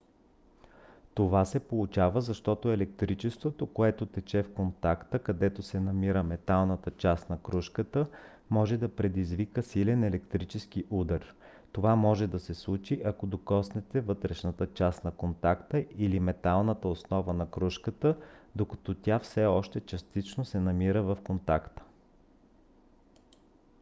това се получава защото електричеството което тече в контакта където се намира металната част на крушката може да предизвика силен електрически удар. това може да се случи ако докоснете вътрешната част на контакта или металната основа на крушката докато тя все още частично се намира в контакта